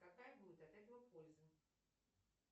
какая будет от этого польза